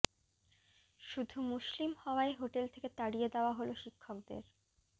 শুধু মুসলিম হওয়ায় হোটেল থেকে তাড়িয়ে দেওয়া হলো শিক্ষকদের